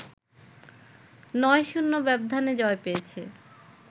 ৯-০ ব্যবধানে জয় পেয়েছে